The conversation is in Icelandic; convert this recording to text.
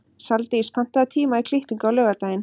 Saldís, pantaðu tíma í klippingu á laugardaginn.